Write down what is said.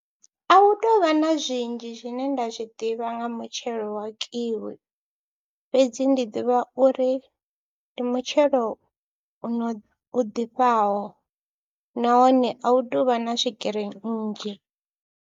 A hu tou vha na zwinzhi zwine nda zwi ḓivha nga mutshelo wa Kiwi fhedzi ndi ḓivha uri ndi mutshelo uno, u ḓifhaho nahone a hu tou vha na swigiri nnzhi.